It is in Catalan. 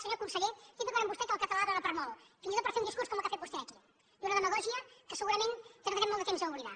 senyor conseller estic d’acord amb vostè que el català dóna per molt fins i tot per fer un discurs com el que ha fet vostè aquí d’una demagògia que segurament tardarem molt de temps a oblidar